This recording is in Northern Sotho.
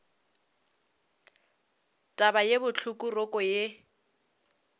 taba ye bohloko roko ye